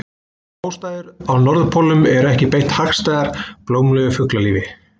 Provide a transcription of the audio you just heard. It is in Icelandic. Aðstæður á norðurpólnum eru ekki beint hagstæðar blómlegu fuglalífi.